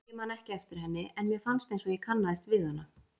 Nei, ég man ekki eftir henni en mér fannst einsog ég kannaðist við hana.